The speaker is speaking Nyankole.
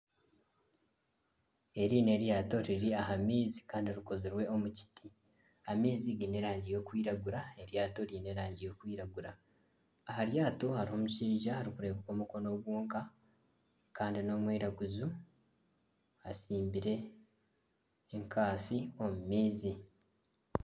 Eri n'eryato eriri aha maizi kandi rikozirwe omu kiti amaizi giine erangi erikwiragura eryato ryine erangi erikwiragura aha ryato hariho omushaija arikureebeka omukono gwonka kandi nomwiraguju atsimbire enkatsi omu maizi.